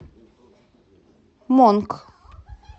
монк